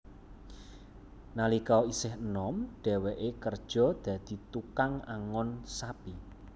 Nalika isih enom dheweke kerja dadi tukang angon sapi